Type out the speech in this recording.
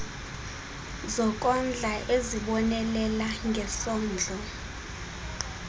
zokondla ezibonelela ngesondlo